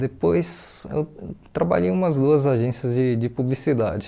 Depois, eu trabalhei em umas duas agências de de publicidade.